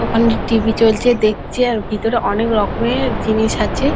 ওখানে টি.ভি. চলছে দেখছে। আর ভিতরে অনেক রকমের জিনিস আছে।